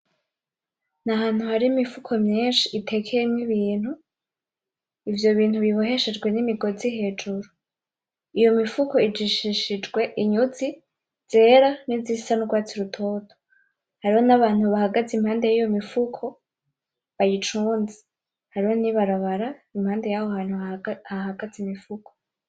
Ni ahantu hari imifuko myinshi itekeyemwo ibintu, ivyo bintu biboheshejwe nimigozi hejuru, yo imifuko ijishijishijwe inyuzi zera nizisa n'urwatsi rutoto, hariho n'abantu bahagaze impande yiyo mifuko bayicunze, hariho n'ibarabara impande yaho hantu hahagaze imifuko.